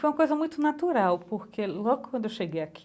Foi uma coisa muito natural, porque logo quando eu cheguei aqui,